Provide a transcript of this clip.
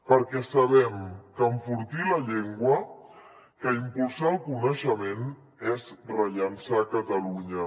perquè sabem que enfortir la llengua que impulsar el coneixement és rellançar catalunya